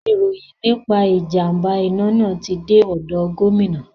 Ìròyìn nípa ìjàm̀bá iná náà ti dé ọ̀dọ̀ gómìnà.